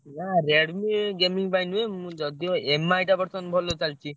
ନା Redmi gaming ପାଇଁ ନୁହେଁ ମୁଁ ଯଦି ଓ Mi ଟା ବର୍ତ୍ତମାନ ଭଲ ଚାଲିଚି।